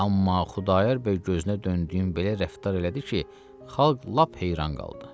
Amma Xudayar bəy gözünə döndüyüm belə rəftar elədi ki, xalq lap heyran qaldı.